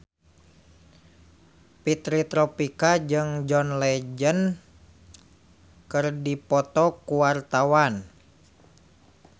Fitri Tropika jeung John Legend keur dipoto ku wartawan